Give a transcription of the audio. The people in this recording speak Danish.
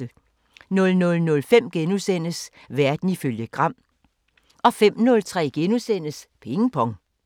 00:05: Verden ifølge Gram * 05:03: Ping Pong *